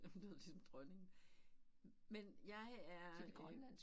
Nu lyder jeg ligesom dronningen men jeg er øh